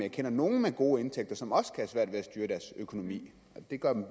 jeg kender nogle med gode indtægter som også kan have svært ved at styre deres økonomi men det gør dem i